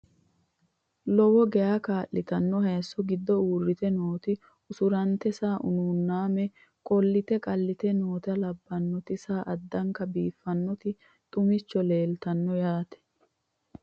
Lowo geya kalittinno hayiisso giddo uuritte nootti usurantte saa unuunname qolitte qalitte nootta labbannotti saa addankka biiffannotti xumicho leelittanno yaatte